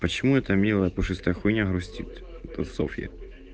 почему это милое пушистое хуйня грустит это софьи